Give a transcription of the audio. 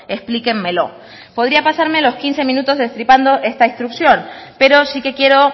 explíquenmelo podría pasarme los quince minutos destripando esta instrucción pero sí que quiero